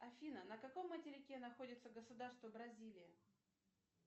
афина на каком материке находится государство бразилия